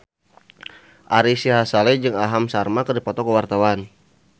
Ari Sihasale jeung Aham Sharma keur dipoto ku wartawan